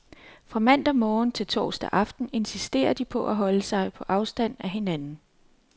Fra mandag morgen til torsdag aften insisterer de på at holde sig på afstand af hinanden.